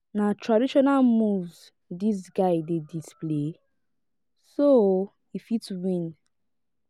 na traditional moves dis guy dey display so o e fit win.